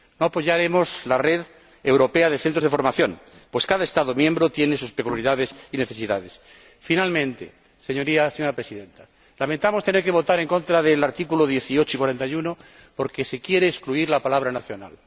No apoyaremos la red europea de centros de formación, pues cada Estado miembro tiene sus peculiaridades y necesidades. Por último, señora Presidenta, lamentamos tener que votar en contra de los artículos 18 y 41 porque se quiere excluir la palabra nacional.